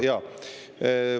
Jaa, rohkem ei näpista.